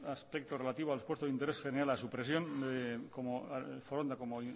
aspectos relativos a los puestos de interés general a supresión de foronda como